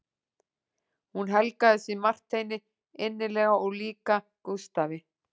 Hún helgaði sig Marteini innilega og líka Gústafi